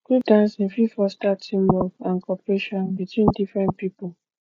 group dancing fit foster team work and cooperation between different pipo